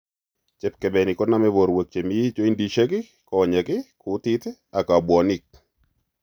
Chepkebenik konome borwek chemii joindisiek, konyek, kutit ak bwonik